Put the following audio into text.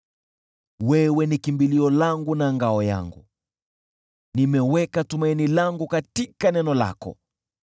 Wewe ni kimbilio langu na ngao yangu, nimeweka tumaini langu katika neno lako.